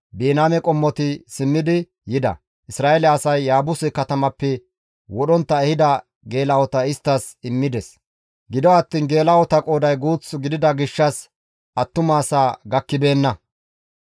Biniyaame qommoti simmidi yida; Isra7eele asay Yaabuse katamappe wodhontta ehida geela7ota isttas immides. Gido attiin geela7ota qooday guuth gidida gishshas attuma asaa gakkibeenna.